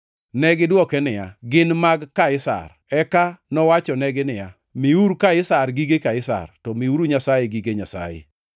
Negidwoke niya, “Gin mag Kaisar.” Eka nowachonegi niya, “Miuru Kaisar gige Kaisar, to miuru Nyasaye gige Nyasaye.”